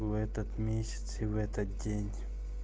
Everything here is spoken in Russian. в этот месяц и в этот день